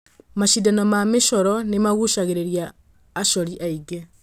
Macindano ma mĩcooro nĩ maguucagĩrĩria acori aingĩ.